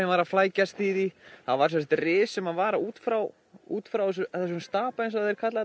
var að flækjast í því það var sem sagt rif sem var út frá út frá þessum stapa eins og þeir kalla